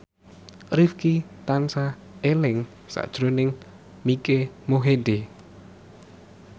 Rifqi tansah eling sakjroning Mike Mohede